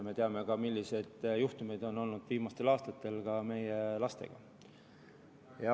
Me teame ka, milliseid juhtumeid on olnud viimastel aastatel meie lastega.